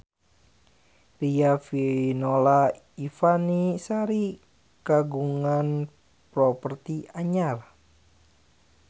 Riafinola Ifani Sari kagungan properti anyar